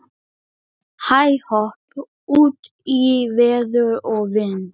Hæ-hopp út í veður og vind.